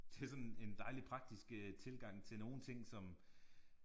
Det er sådan en dejlig praktisk øh tilgang til nogen ting som